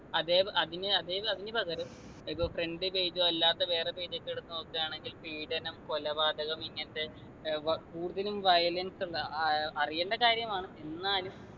അതെ അതിനു അതെ അതിനു പകരം ഇപ്പൊ front page ഓ അല്ലാത്ത വേറെ page ഒക്കെ എടുത്തു നോക്കാണെങ്കിൽ പീഡനം കൊലപാതകം ഇങ്ങനത്തെ ഏർ വ കൂടുതലും violence ഉള്ള ആഹ് അറിയേണ്ട കാര്യങ്ങമാണ് എന്നാലും